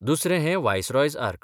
दुसरें हैं viceroy's arc.